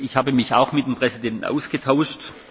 Ich habe mich auch mit dem Präsidenten ausgetauscht.